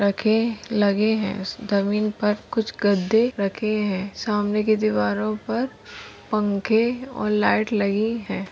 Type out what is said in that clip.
रखे लगे है। जमीन पर कुछ गद्दे रखे है। सामने की दीवारों पर पंखे और लाइट लगी है।